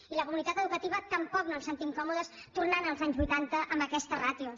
i la comunitat educativa tampoc no ens sentim còmodes tornant als anys vuitanta amb aquestes ràtios